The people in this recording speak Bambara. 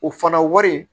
O fana wari